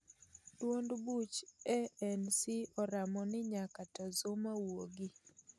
Duond buch ANC oramo ni nyaka to Zuma wuogi